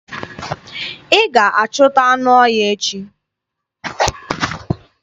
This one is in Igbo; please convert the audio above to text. Ị ga-achụta anụ ọhịa echi!